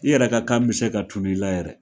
I yɛrɛ ka kan bi se ka tunun i la yɛrɛ.